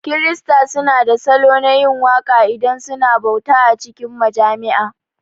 Kirista su na da salo na yin waka idan suna bauta a cikin majami'a